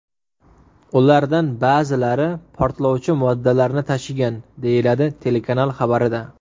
Ulardan ba’zilari portlovchi moddalarni tashigan”, deyiladi telekanal xabarida.